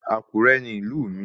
Àkúrẹ́ ni ìlú mi